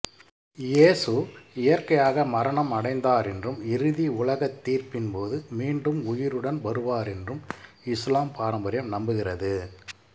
இயேசு இயற்கையாக மரணம் அடைந்தாரென்றும் இறுதி உலக தீர்ப்பின் போது மீண்டும் உயிருடன் வருவாரென்றும் இசுலாம் பாரம்பரியம் நம்புகிறது